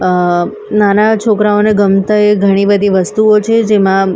અહ નાના છોકરાઓને ગમતા એ ઘણી બધી વસ્તુઓ છે જેમાં--